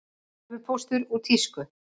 Tölvupóstur úr tísku